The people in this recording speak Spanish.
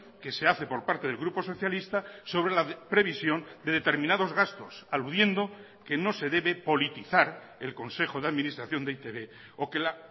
que se hace por parte del grupo socialista sobre la previsión de determinados gastos aludiendo que no se debe politizar el consejo de administración de e i te be o que la